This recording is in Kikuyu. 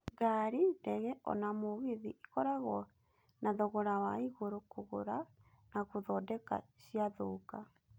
Ngari, ndege na ona mũgithi ĩkoragwo nĩ thogora wa igũrũ kũgũra na gũthondeka ciathũka.